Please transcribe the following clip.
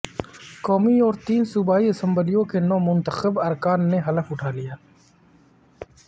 قومی اور تین صوبائی اسمبلیوں کے نو منتخب ارکان نے حلف اٹھا لیا